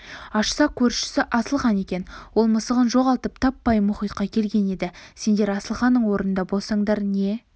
ашса көршісі асылхан екен ол мысығын жоғалтып таппай мұхитқа келген еді сендер асылханның орнында болсаңдар не